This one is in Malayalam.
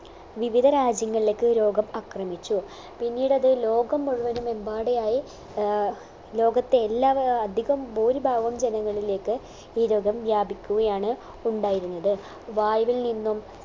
വിവിധ രാജ്യങ്ങളിലേക്ക് രോഗം അക്രമിച്ചു പിന്നീടത് ലോകം മുഴുവനുമെമ്പാടെയായ് ആഹ് ലോകത്തെ എല്ലാ അഹ് അധികം ഭൂരിഭാഗം ജനങ്ങളിലേക്ക് ഈ രോഗം വ്യാപിക്കുകയാണ് ഉണ്ടായിരുന്നത് വായുവിൽ നിന്നും